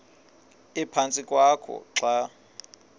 ephantsi kwakho xa